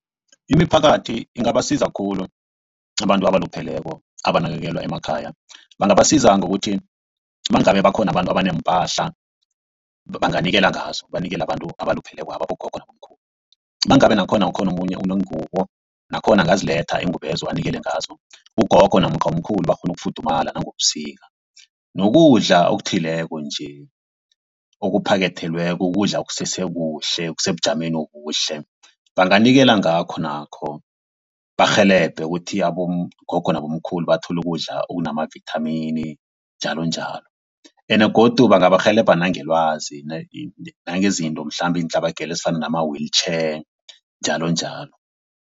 Imiphakathi ingabasiza khulu abantu abalupheleko abanakekelwa emakhaya. Bangabasiza ngokuthi mangabe bakhona abantu abaneempahla banganikela ngazo banikele abantu abaluphelekwaba abogogo nabomkhulu. Mangabe nakhona ukhona omunye oneengubo nakhona angaziletha iingubo lezo anikele ngazo ugogo namkha umkhulu bakghone ukufuthumala ebusika. Nokudla okuthileko nje okuphakethelweko ukudla okusesekuhle okusebujameni obuhle banganikela ngakho nakho barhelebhe ukuthi abogogo nabomkhulu bathole ukudla okunamavithamini njalonjalo. Ende godu bangabarhelebha nangelwazi nangezinto mhlambe iintlabagelo ezifana nama-wheeelchair njalonjalo.